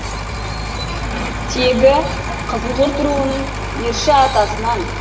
тегі қызылқұрт руының ерші атасынан